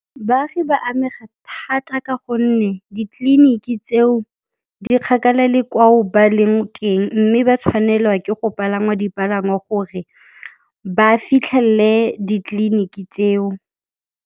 Baagi ba amega thata ka gonne ditleliniki tseo di kgakala le kwao ba leng teng mme ba tshwanelwa ke go palama dipalangwa gore ba fitlhelele ditleliniki tseo.